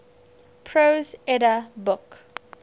prose edda book